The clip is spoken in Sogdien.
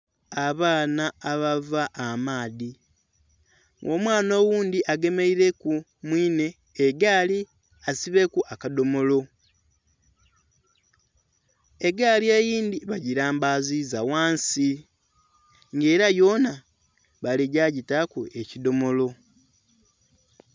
Abaana abava amaadhi nga omwana oghundhi agemeileku mwinhe egaali asibeku akadhomolo, egaali eyindhi bangilambaziza ghansi nga ela yoona baligya gitaaku ekidhomolo.